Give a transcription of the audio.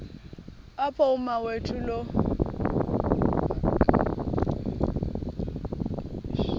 apho umawethu lo